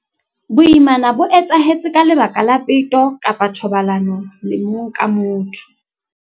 Boimana bo etsahetse ka lebaka la peto kapa thobalano le mong ka motho.